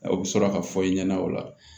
Aw bɛ sɔrɔ ka fɔ i ɲɛna o la